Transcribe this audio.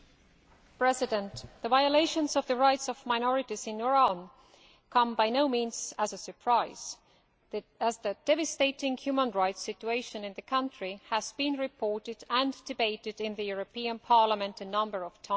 Mr President, the violations of the rights of minorities in Iran come by no means as a surprise, as the devastating human rights situation in the country has been reported and debated in this Parliament a number of times.